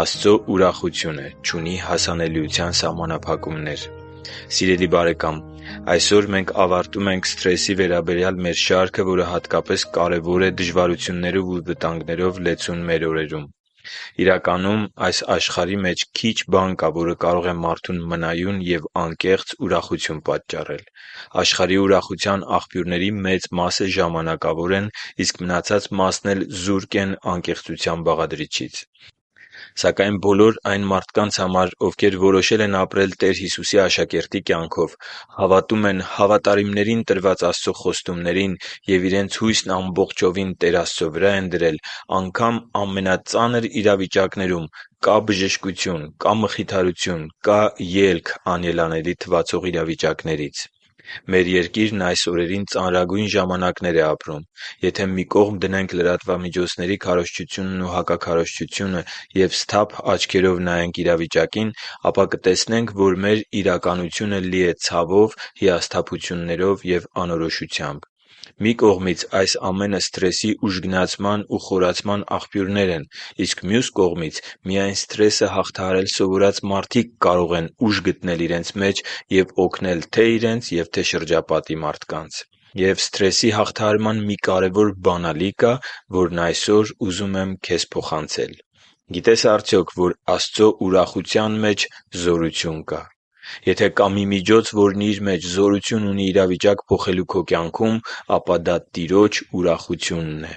Աստծո ուրախությունը չունի հասանելիության սահմանափակումներ Սիրելի՛ բարեկամ, այսօր մենք ավարտում ենք սթրեսի վերաբերյալ մեր շարքը, որը հատկապես կարևոր է դժվարություններով ու վտանգներով լեցուն մեր օրերում։ Իրականում, այս աշխարհի մեջ քիչ բան կա, որը կարող է մարդուն մնայուն և անկեղծ ուրախություն պատճառել։ Աշխարհի ուրախության աղբյուրների մեծ մասը ժամանակավոր են, իսկ մնացած մասն էլ զուրկ են անկեղծության բաղադրիչից։ Սակայն բոլոր այն մարդկանց համար, ովքեր որոշել են ապրել Տեր Հիսուսի աշակերտի կյանքով, հավատում են հավատարիմներին տրված Աստծո խոստումներին և իրենց հույսն ամբողջովին Տեր Աստծո վրա են դրել, անգամ ամենածանր իրավիճակներում կա՛ բժշկություն, կա՛ մխիթարություն և կա՛ ելք անելանելի թվացող իրավիճակներից։ Մեր երկիրն այս օրերին ծանրագույն ժամանակներ է ապրում։ Եթե մի կողմ դնենք լրատվամիջոցների քարոզչությունն ու հակաքարոզչությունը և սթափ աչքերով նայենք իրավիճակին, ապա կտեսնենք, որ մեր իրականությունը լի է ցավով, հիասթափություններով և անորոշությամբ։ Մի կողմից այս ամենը սթրեսի ուժգնացման ու խորացման աղբյուրներ են։ Իսկ մյուս կողմից միայն սթրեսը հաղթահարել սովորած մարդիկ կարող են ուժ գտնել իրենց մեջ և օգնել թե՛ իրենց ու թե՛ իրենց շրջապատի մարդկանց։ Եվ սթրեսի հաղթահարման մի կարևոր բանալի կա, որն այսօր ուզում եմ քեզ փոխանցել։ Գիտե՞ս արդյոք, որ Աստծո ուրախության մեջ զորություն կա։ Եթե կա մի միջոց, որն իր մեջ զորություն ունի իրավիճակ փոխելու քո կյանքում, ապա դա Տիրոջ ուրախությունն է։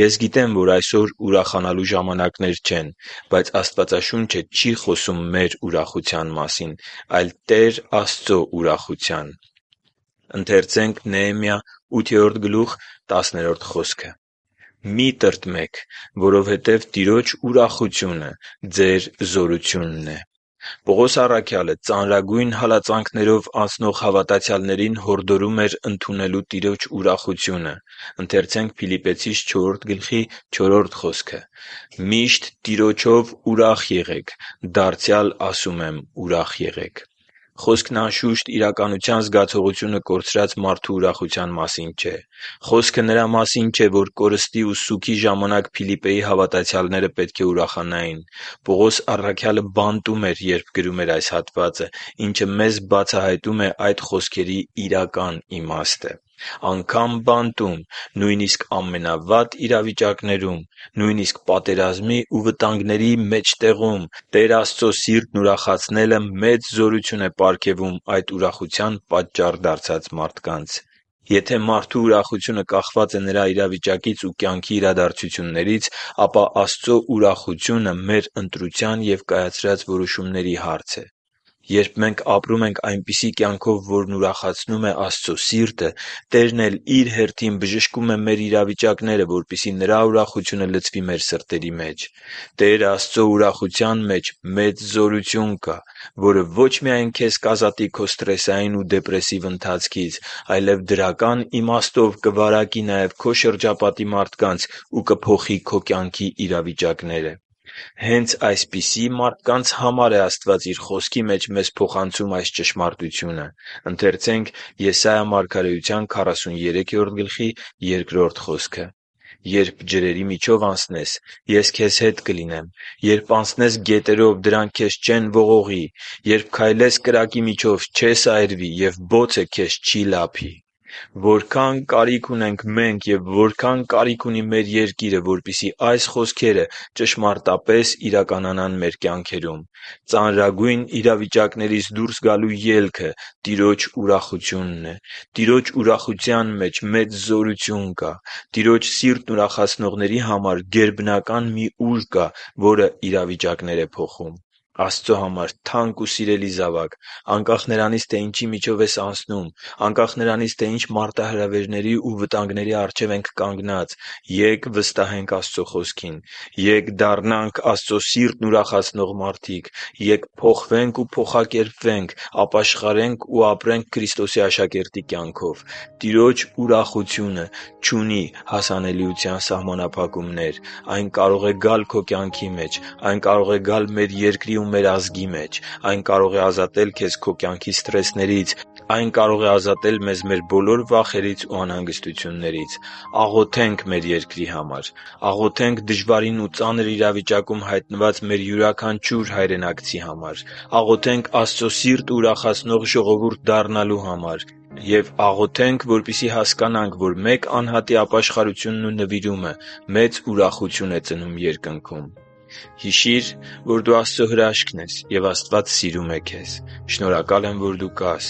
Ես գիտեմ, որ այսօր ուրախանալու ժամանակներ չեն։ Բայց Աստվածաշունչը չի խոսում մեր ուրախության մասին, այլ Տեր Աստծո ուրախության․ «․․․մի՛ տրտմեք, որովհետև Տիրոջ ուրախությունը ձեր զորությունն է» (Նեեմիա 8․10): Պողոս առաքյալը ծանրագույն հալածանքներով անցնող հավատացյալներին հորդորում էր ընդունելու Տիրոջ ուրախությունը․ «Միշտ Տիրոջով ուրա՛խ եղեք. դարձյալ ասում եմ՝ ուրա՛խ եղեք» (Փիլիպպեցիներին 4․4)։ Խոսքն անշուշտ իրականության զգացողությունը կորցրած մարդու ուրախության մասին չէ։ Խոսքը նրա մասին չէ, որ կորուստի ու սուգի ժամանակ Փիլիպպեի հավատացյալները պետք է ուրախանային։ Պողոս առաքյալը բանտում էր, երբ գրում էր այս հատվածը, ինչը մեզ բացահայտում է այդ խոսքերի իրական իմաստը։ Անգամ բանտում, նույնիսկ ամենավատ իրավիճակներում, նույնիսկ պատերազմի ու վտանգների մեջտեղում Տեր Աստծո սիրտն ուրախացնելը մեծ զորություն է պարգևում այդ ուրախության պատճառ դարձած մարդկանց: Եթե մարդու ուրախությունը կախված է նրա իրավիճակից ու կյանքի իրադարձություններից, ապա Աստծո ուրախությունը մեր ընտրության և կայացրած որոշումների հարց է: Երբ մենք ապրում ենք այնպիսի կյանքով, որն ուրախացնում է Աստծո սիրտը, Տերն էլ Իր հերթին բժշկում է մեր իրավիճակները, որպեսզի Նրա ուրախությունը լցվի մեր սրտերի մեջ։ Տեր Աստծո ուրախության մեջ մեծ զորություն կա, որը ոչ միայն քեզ կազատի քո սթրեսային ու դեպրեսիվ ընթացքից, այլև դրական իմաստով կվարակի նաև քո շրջապատի մարդկանց ու կփոխի քո կյանքի իրավիճակները։ Հե՛նց այսպիսի մարդկանց համար է Աստված Իր Խոսքի մեջ մեզ փոխանցում այս ճշմարտությունը. «Երբ ջրերի միջով անցնես, Ես քեզ հետ կլինեմ, երբ անցնես գետերով, դրանք քեզ չեն ողողի, երբ քայլես կրակի միջով, չես այրվի, և բոցը քեզ չի լափի» (Եսայիա 43․2)։ Որքա՜ն կարիք ունենք մենք և որքա՜ն կարիք ունի մեր երկիրը, որպեսզի այս խոսքերը ճշմարտապես իրականանան մեր կյանքերում։ Ծանրագույն իրավիճակներից դուրս գալու ելքը Տիրոջ ուրախությունն է։ Տիրոջ ուրախության մեջ մեծ զորություն կա։ Տիրոջ սիրտն ուրախացնողների համար գերբնական մի ուժ կա, որը իրավիճակներ է փոխում։ Աստծո համար թանկ ու սիրելի՛ զավակ, անկախ նրանից, թե ինչի միջով ես անցնում, անկախ նրանից, թե ինչ մարտահրավերների ու վտանգների առջև ենք կանգնած, ե՛կ վստահենք Աստծո Խոսքին։ Ե՛կ դառնանք Աստծո սիրտն ուրախացնող մարդիկ։ Ե՛կ փոխվենք ու փոխակերպվենք, ապաշխարե՛նք ու ապրե՛նք Քրիստոսի աշակերտի կյանքով։ Տիրոջ ուրախությունը չունի հասանելիության սահմանափակումներ։ Այն կարող է գալ քո կյանքի մեջ։ Այն կարող է գալ մեր երկրի ու մեր ազգի մեջ։ Այն կարող է ազատել քեզ քո կյանքի սթրեսներից։ Այն կարող է ազատել մեզ բոլոր վախերից ու անհանգստություններից։ Աղոթե՛նք մեր երկրի համար։ Աղոթե՛նք դժվարին ու ծանր իրավիճակում հայտնված մեր յուրաքանչյուր հայրենակցի համար։ Աղոթե՛նք Աստծո սիրտը ուրախացնող ժողովուրդ դառնալու համար։ Եվ աղոթե՛նք, որպեսզի հասկանանք, որ մեկ անհատի ապաշխարությունն ու նվիրումը մեծ ուրախություն է ծնում Երկնքում։ Հիշի՛ր, որ դու Աստծո հրաշքն ես, և Աստված սիրում է քեզ։ Շնորհակալ եմ, որ դու կա՛ս